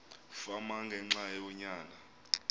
fama ngenxa yonyana